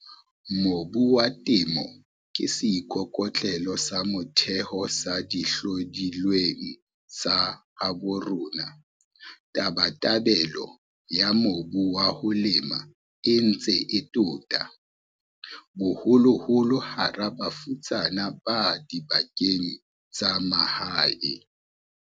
Mobu wa Temo ke seikokotlelo sa motheo sa dihlodilweng tsa habo rona. Tabatabelo ya mobu wa ho lema e ntse e tota, haholoholo hara bafutsana ba dibakeng tsa mahae.